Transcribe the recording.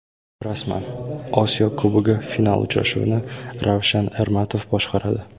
Rasman: Osiyo Kubogi final uchrashuvini Ravshan Ermatov boshqaradi.